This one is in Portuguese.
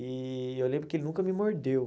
E eu lembro que ele nunca me mordeu.